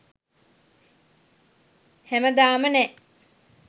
හැමදාම නෑ